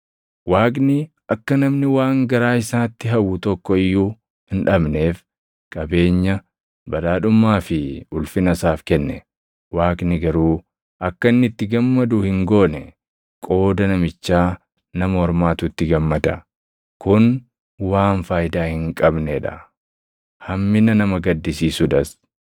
Waaqni akka namni waan garaa isaatti hawwu tokko iyyuu hin dhabneef qabeenya, badhaadhummaa fi ulfina isaaf kenne; Waaqni garuu akka inni itti gammadu hin goone; qooda namichaa nama ormaatu itti gammada. Kun waan faayidaa hin qabnee dha; hammina nama gaddisiisuudhas.